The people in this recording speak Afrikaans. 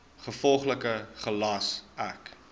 gevolglik gelas ek